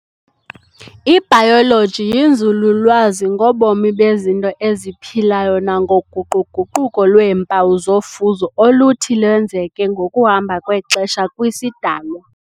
I-Bayoloji yinzululwazi ngobomi bezinto eziphilayo nango-guqu-guquko lweempawu zofuzo oluthi lwenzeke ngokuhamba kwexesha kwisidalwa.